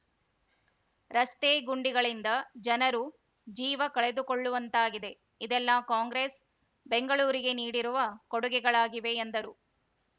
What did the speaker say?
ರಸ್ತೆ ಗುಂಡಿಗಳಿಂದ ಜನರು ಜೀವ ಕಳೆದುಕೊಳ್ಳುವಂತಾಗಿದೆ ಇದೆಲ್ಲಾ ಕಾಂಗ್ರೆಸ್‌ ಬೆಂಗಳೂರಿಗೆ ನೀಡಿರುವ ಕೊಡುಗೆಗಳಾಗಿವೆ ಎಂದರು